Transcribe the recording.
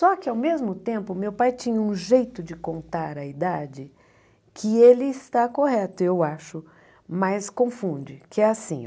Só que ao mesmo tempo, meu pai tinha um jeito de contar a idade que ele está correto, eu acho, mas confunde, que é assim